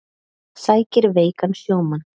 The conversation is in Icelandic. Sækir veikan sjómann